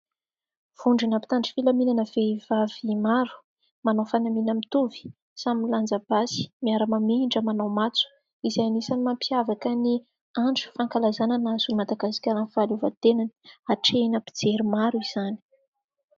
Vondrona mpitandro filaminana vehivavy maro manao fanamiana mitovy, samy milanja basy, miara-mamindra manao matso izay anisany mampiavaka ny andro fankalazana nahazoan'i Madagasikara ny fahaleovatenany, hatrehina mpijery maro izany.